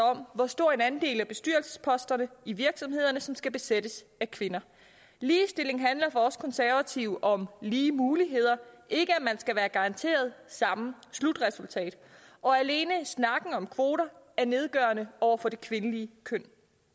om hvor stor en andel af bestyrelsesposterne i virksomhederne som skal besættes af kvinder ligestilling handler for os konservative om lige muligheder ikke at man skal være garanteret samme slutresultat og alene snakken om kvoter er nedgørende over for det kvindelige køn